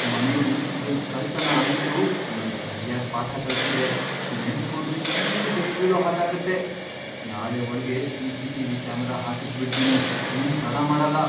ಮನೆಲಿ ಇದೊಂದ್ ಕಳ್ತನ ಆಗಿದ್ದು ನಂಗ್ ಸರ್ಯಾಗ್ ಪಾಠ ಕಲ್ಸಿದೆ, ನೆನ್ಸ್ಕೊಂಡ್ರೆ ಈಗ್ಲೂ ಬೆಚ್ಚ್ಬೀಳೋಹಾಗಾಗತ್ತೆ, ನಾಳೆ ಒಳ್ಗೇ ಸಿ.ಸಿ.ಟಿ.ವಿ. ಕ್ಯಾಮರಾ ಹಾಕಿಸ್ಬಿಡ್ತೀನಿ, ಇನ್ನ್ ತಡ ಮಾಡಲ್ಲ.